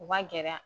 U ka gɛlɛya